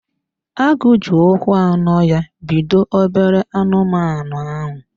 Agụ ji ụkwụ anọ ya pido obere anụmanụ ahụ.